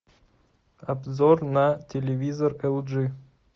обзор на телевизор эл джи